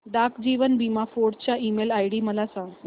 डाक जीवन बीमा फोर्ट चा ईमेल आयडी मला सांग